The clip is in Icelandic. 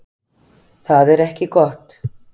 Það er ekki gott